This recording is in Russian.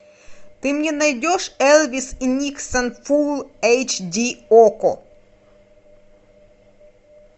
ты мне найдешь элвис и никсон фулл эйч ди окко